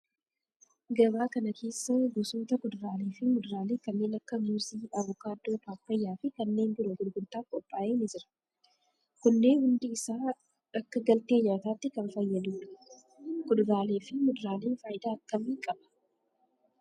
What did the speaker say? Gabaa kana keessa gosoota kuduraalee fi muduraalee kanneen akka muuzii, avokaadoo, paappayyaa fi kanneen biroo gurgurtaaf qophaa'e ni jira. Kunneen hundi isaa akka galtee nyaatatti kan fayyadudha. Kuduraalee fi muduraaleen faayidaa akkamii qaba?